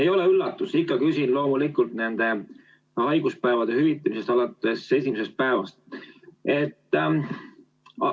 Ei ole üllatus – ma ikka küsin loomulikult haiguspäevade hüvitamise kohta alates esimesest päevast.